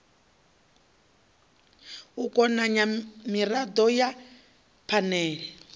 u konanya mirado ya phanele